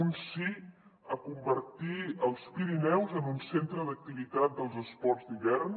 un sí a convertir els pirineus en un centre d’activitat dels esports d’hivern